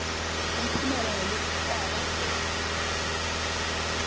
umphumela walokhu kwaba